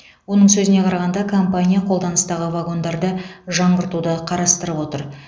оның сөзіне қарағанда компания қолданыстағы вагондарды жаңғыртуды қарастырып отыр